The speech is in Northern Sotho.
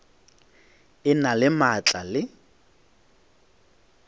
e na le maatla le